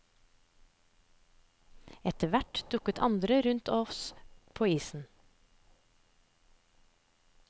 Etterhvert dukker andre opp rundt oss på isen.